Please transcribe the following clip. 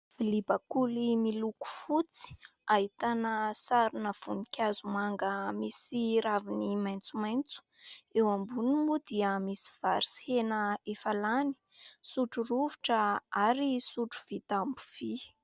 Vilia bakoly miloko fotsy ahitana sarina voninkazo miloko manga misy raviny maitsomaitso. Eo amboniny moa dia misy vary sy hena efa lany, sotro rovitra ary sotro vita amin'ny vy.